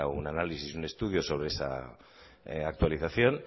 un análisis y un estudio sobre esa actualización